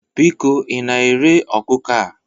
Biko ị na-ere ọkụkọ a?